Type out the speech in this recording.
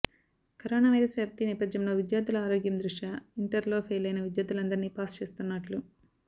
corona virus వ్యాప్తి నేపథ్యంలో విద్యార్థుల ఆరోగ్యం దృష్ట్యా ఇంటర్లో ఫెయిలైన విద్యార్థులందరినీ పాస్ చేస్తున్నట్లు